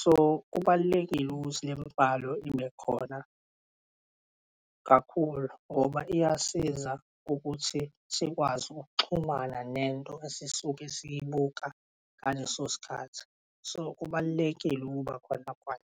So, kubalulekile ukuthi lembhalo ibe khona kakhulu ngoba iyasiza ukuthi sikwazi ukuxhumana nento esisuke siyibuka ngaleso sikhathi, so kubalulekile ukuba khona kwayo.